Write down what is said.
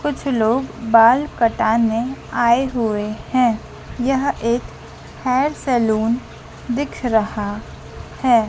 कुछ लोग बाल कटाने आए हुए है यह एक हेयर सैलून दिख रहा है।